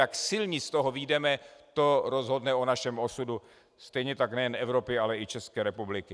Jak silní z toho vyjdeme, to rozhodne o našem osudu, stejně tak nejen Evropy, ale i České republiky.